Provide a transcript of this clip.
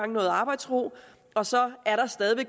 noget arbejdsro og så har